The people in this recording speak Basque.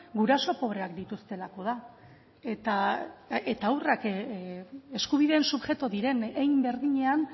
guraso pobreak dituztelako da eta haurrak eskubideen subjektu diren hein berdinean